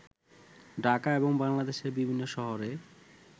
ঢাকা এবং বাংলাদেশের বিভিন্ন শহরে